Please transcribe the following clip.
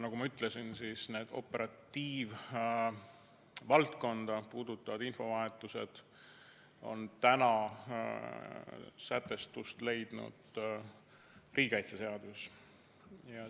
Nagu ma ütlesin, operatiivvaldkonda puudutav infovahetus on täna sätestust leidnud riigikaitseseaduses.